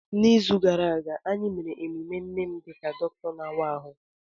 N'izu gara aga, anyị mere emume nne m dị ka dọkịta na-awa ahụ.